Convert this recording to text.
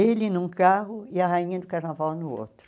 Ele num carro e a rainha do carnaval no outro.